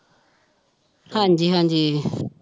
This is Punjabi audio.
ਹਾਂਜੀ ਹਾਂਜੀ